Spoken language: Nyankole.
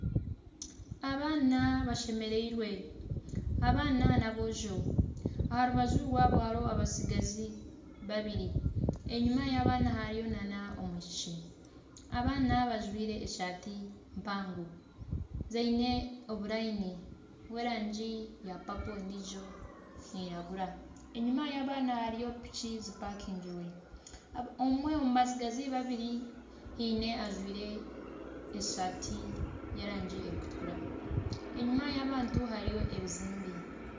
Abaana bashemereirwe, abaana ni aboojo. Aha rubaju rwabo hariho abatsigazi babiri enyima y'abaana hariyo na omwishiki. Abaana bajwire esaati mpango ziine oburayini bw'erangi ya papo endiijo neyiragura. Enyima y'abaana hariyo piki zipakingire. Omwe omu batsigazi babiri haine ojwire esaati ye rangi erikutukura. Enyima y'abantu hariyo ebizimbe.